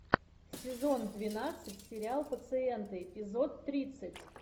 сезон двенадцать сериал пациенты эпизод тридцать